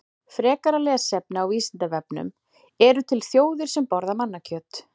Frekara lesefni á Vísindavefnum: Eru til þjóðir sem borða mannakjöt?